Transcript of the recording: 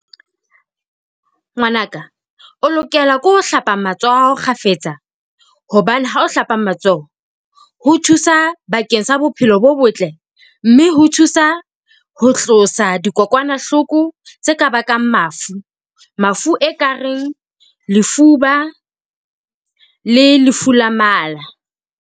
Ngwanaka o lokela ke ho hlapa matsoho kgafetsa hobane ha o hlapa matsoho, ho thusa bakeng sa bophelo bo botle mme ho thusa ho tlosa dikokwanahloko tse ka bakang mafu, mafu e kareng lefuba le lefu la mala.